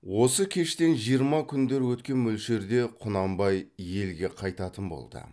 осы кештен жиырма күндер өткен мөлшерде құнанбай елге қайтатын болды